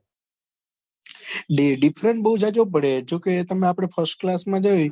differance બહુ જાજો પડે જો કે તમે આપડે first class માં જોએ